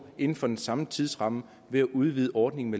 inden for den samme tidsramme ved at udvide ordningen